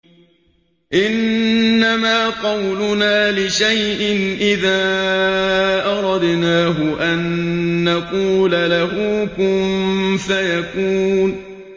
إِنَّمَا قَوْلُنَا لِشَيْءٍ إِذَا أَرَدْنَاهُ أَن نَّقُولَ لَهُ كُن فَيَكُونُ